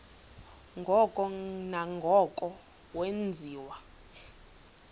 ngoko nangoko wenziwa